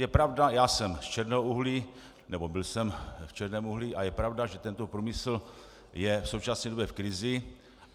Je pravda, já jsem z černého uhlí, nebo byl jsem v černém uhlí, a je pravda, že tento průmyslu je v současné době v krizi.